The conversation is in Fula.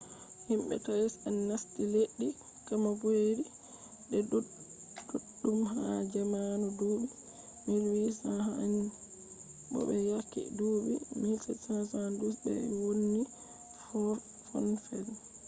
himɓe tais en nasti leddi kambodiya de ɗuɗɗum ha zamanu duuɓi 1800 en bo be yake duuɓi 1772 de ɓe wonni fonfen